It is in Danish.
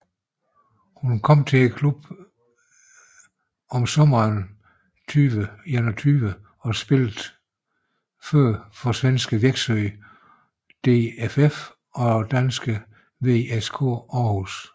Hun kom til klubben i sommeren 2021 og spillede tidligere for svenske Växjö DFF og danske VSK Aarhus